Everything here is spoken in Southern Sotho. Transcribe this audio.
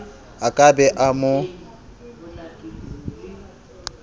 a ka be a mo